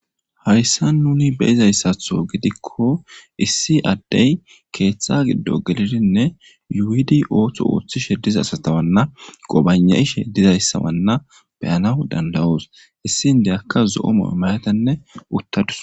Hayssa nuni be izayssatho gidikko issi addey keeththa giddo gelidinne yuidi ooththo ooththishe diza asatawanna qobane ishe dizayssawanna beyana dandawoos issi indeyakka zo7omo imayatenne uttadus.